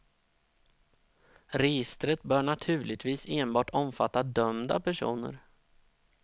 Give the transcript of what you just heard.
Registret bör naturligtvis enbart omfatta dömda personer.